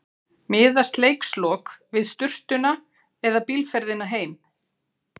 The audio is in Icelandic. Miðast leikslok við sturtuna eða bílferðina heim?